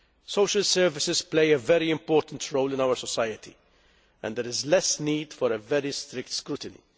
Social services play a very important role in our society and there is less need for very strict scrutiny.